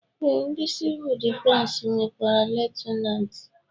Ee ndị sivuul difensi nwekwara Liyutenanti